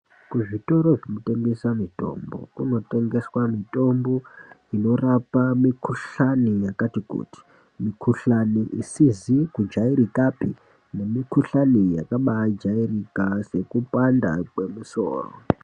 Kuzvitoro zvinotengesa mitombo kunotengeswa mitombo inorapa mikuhlani yakato kuti. Mikhuhlani isizi kujairika neyakajairika sekubanda kwemusoro.